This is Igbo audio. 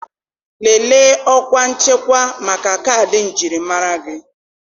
Lelee ọkwa nchekwa maka kaadị njirimara gị.